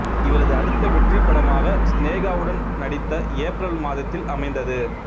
இவரது அடுத்த வெற்றிப்படமாக சினேகாவுடன் நடித்த ஏப்ரல் மாதத்தில் அமைந்தது